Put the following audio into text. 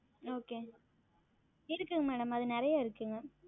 Okay இருக்கிறது Madam அது நிறைய இருக்கிறது